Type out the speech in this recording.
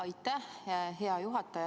Aitäh, hea juhataja!